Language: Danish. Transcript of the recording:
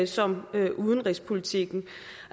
som netop udenrigspolitikken